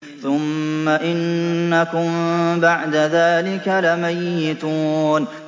ثُمَّ إِنَّكُم بَعْدَ ذَٰلِكَ لَمَيِّتُونَ